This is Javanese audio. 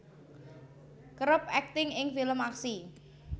kerep akting ing film aksi